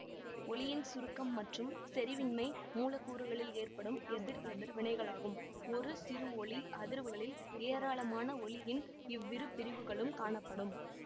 ஒலியின் சுருக்கம் மற்றும் செரிவின்மை மூலக்கூறுகளில் ஏற்படும் எதிர் எதிர் வினைகளாகும்ஒரு சிறு ஒலி அதிர்வுகளில் ஏராளமான ஒலியின் இவ்விருபிரிவுகளும் காணப்படும்